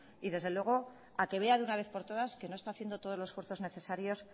y a que vea de una vez por todas que no está haciendo todos los esfuerzos necesarios